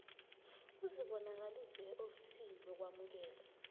uzibonakalise eofisini lokwamukelwa